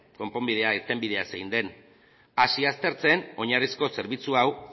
konponbidea irtenbidea zein den hasi aztertzen oinarrizko zerbitzu hau